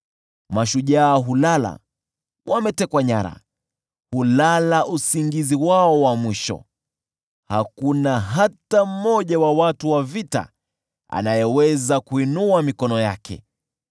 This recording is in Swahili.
Mashujaa hulala wametekwa nyara, hulala usingizi wao wa mwisho; hakuna hata mmoja wa watu wa vita anayeweza kuinua mikono yake.